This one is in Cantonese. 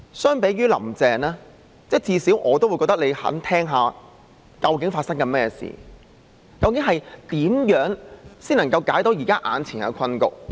相比"林鄭"，我至少覺得司長願意聆聽究竟發生甚麼事，究竟怎樣才能夠解決眼前的困局？